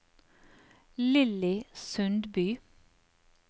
Lilly Sundby